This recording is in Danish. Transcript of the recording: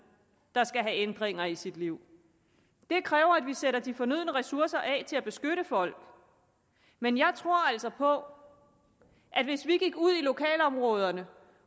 der skal have ændringer i sit liv det kræver at vi sætter de fornødne ressourcer af til at beskytte folk men jeg tror altså på at hvis vi gik ud i lokalområderne